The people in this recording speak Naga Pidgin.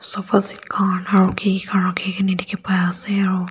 sofa seat khan aro keke khang rakhe kena dekhe pai ase aro.